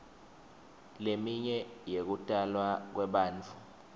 leminye yekutalwa kwebantfu